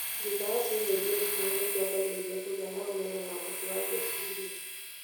Thutha wa ciumia igĩrĩciana nĩ ciambĩrĩragia kũgĩa na ũmenyo na ũhoti wa gwĩciria.